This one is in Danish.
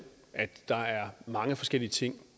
at der er mange forskellige ting